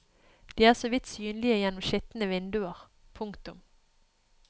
De er så vidt synlige gjennom skitne vinduer. punktum